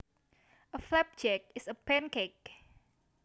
A flapjack is a pancake